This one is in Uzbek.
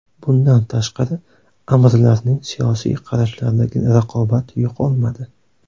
Bundan tashqari, amirlarning siyosiy qarashlaridagi raqobat yo‘qolmadi.